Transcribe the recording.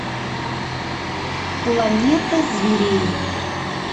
планета зверей